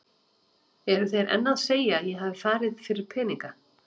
Eru þeir enn að segja að ég hafi farið fyrir peninga?